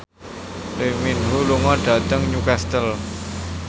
Lee Min Ho lunga dhateng Newcastle